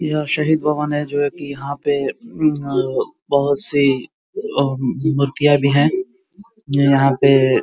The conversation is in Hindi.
यह शहीद भवन है जो कि यहाँ पे उम्म्म बोहोत सी उम्म मुर्तिया भी हैं जो यहाँ पे --